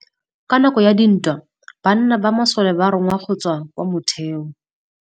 Ka nakô ya dintwa banna ba masole ba rongwa go tswa kwa mothêô.